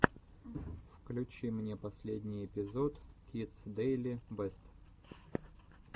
включи мне последний эпизод кидс дэйли бэст